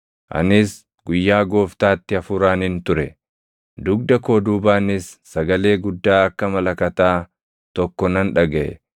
Anis guyyaa Gooftaatti Hafuuraanin ture; dugda koo duubaanis sagalee guddaa akka malakataa tokko nan dhagaʼe;